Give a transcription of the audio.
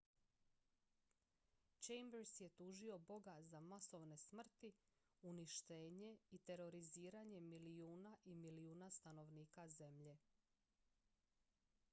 chambers je tužio boga za masovne smrti uništenje i teroriziranje milijuna i milijuna stanovnika zemlje